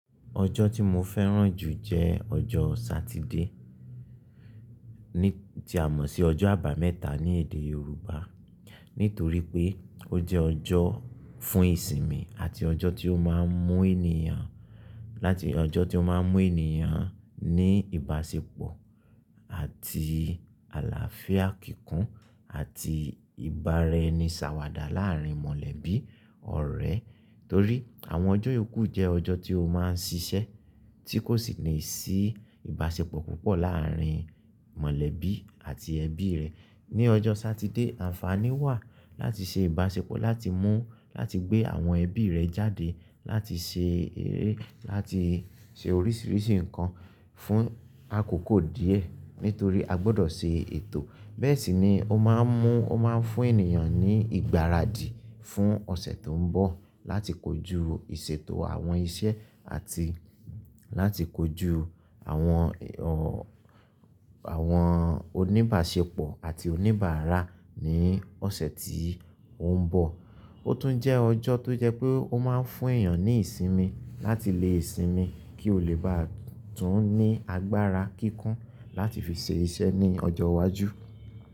Ọjọ́ tí mo fẹ́ràn jù jẹ́ ọjọ́ Satide, ní tí a mọ̀ sí ọjọ́ àbámẹ́ta ní èdè Yorùbá. Nítorí pé ó jẹ́ ọjọ́ fún ìsinmi àti ọjọ́ tí ó máa ń mú ènìyàn, láti ọjọ́ tí ó máa ń mú ènìyàn ní ìbáṣepọ̀ àti àlàáfíà kíkún àti ìbára-ẹni-sàwàdà láàárín mọ̀lẹ́bí, ọ̀rẹ́. Torí àwọn ọjọ́ yòókù jẹ́ ọjọ́ tí ó máa ń ṣiṣẹ́ tí kò sì ní sí ìbáṣepọ̀ púpọ̀ láàárín mọ̀lẹ́bí àti ẹbí rẹ̀. Ni ọjọ́ Satide, àǹfààní wà láti ṣe ìbáṣepọ̀, láti mú, láti gbé àwọn ẹbí rẹ jáde, láti ṣe eré, láti ṣe oríṣiríṣi nǹkan fún àkókò díẹ̀, nítorí a gbọdọ̀ ṣe ètò. Bẹ́ẹ̀ sì ni ó máa ń mú, ó máa ń fún ènìyàn ní ìgbáradì fún ọ̀sẹ̀ tó ń bọ̀ láti kojú ìṣètò àwọn iṣẹ́ àti láti kojú àwọn ọ̀, àwọn oníbáṣepọ̀ àti oníbàárà ní ọ̀sẹ̀ tí ó ń bọ̀. Ó tún jẹ́ ọjọ́ tó jẹ́ pé ó máa ń fún èèyàn ní ìsinmi láti lé sinmi kí ó lè bá tún ní agbára kíkún láti fi ṣe iṣẹ́ ní ọjọ́ iwájú.